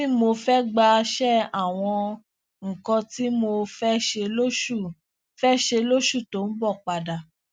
tí mo fé gbà ṣe àwọn nǹkan tí mo fé ṣe lóṣù fé ṣe lóṣù tó ń bò padà